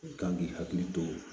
I kan k'i hakili to